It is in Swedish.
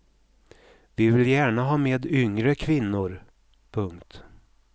Vi vill gärna ha med yngre kvinnor. punkt